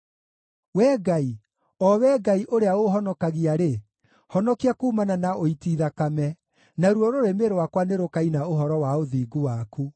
Wee Ngai, o Wee Ngai ũrĩa ũũhonokagia-rĩ, honokia kuumana na ũiti thakame, naruo rũrĩmĩ rwakwa nĩrũkaina ũhoro wa ũthingu waku.